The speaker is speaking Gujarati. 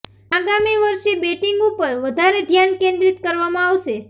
આગામી વર્ષે બેટિંગ ઉપર વધારે ધ્યાન કેન્દ્રિત કરવામાં આવશે